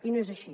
i no és així